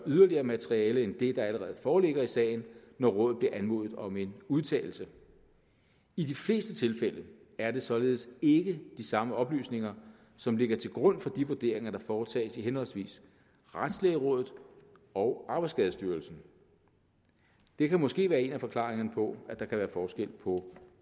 yderligere materiale end det der allerede foreligger i sagen når rådet bliver anmodet om en udtalelse i de fleste tilfælde er det således ikke de samme oplysninger som ligger til grund for de vurderinger der foretages i henholdsvis retslægerådet og arbejdsskadestyrelsen det kan måske være en af forklaringerne på at der kan være forskel på